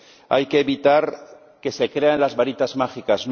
Hay que evitar que se crea en las varitas mágicas.